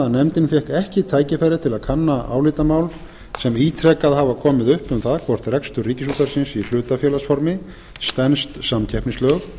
nefndin fékk ekki tækifæri til að kanna álitamál sem ítrekað hafa komið upp um það hvort rekstur ríkisútvarpsins í hlutafélagsformi stenst samkeppnislög